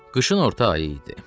Qışın orta ayı idi.